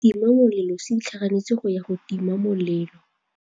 Setima molelô se itlhaganêtse go ya go tima molelô.